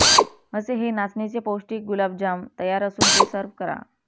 असे हे नाचणीचे पौष्टिक गुलाबजाम तयार असून ते सर्व्ह करा